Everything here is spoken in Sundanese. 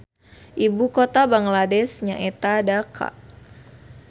Ibu kota Bangladesh nyaeta Dhaka